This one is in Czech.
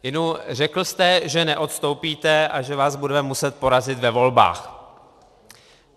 Inu, řekl jste, že neodstoupíte a že vás budeme muset porazit ve volbách.